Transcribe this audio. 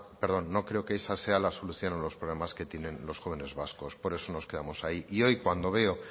perdón no creo que esa sea la solución a los problemas que tienen los jóvenes vascos por eso nos quedamos ahí y hoy cuando veo